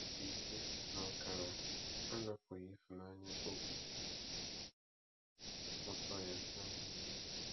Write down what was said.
Nkpọrọ afọ ise na ọkara anapụghị Ifunanya obi ụtọ ya na Nnewi.